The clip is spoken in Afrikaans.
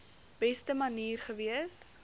beste manier gewees